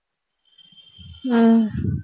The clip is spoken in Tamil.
அஹ்